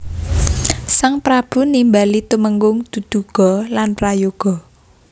Sang prabu nimbali tumenggung Duduga lan Prayoga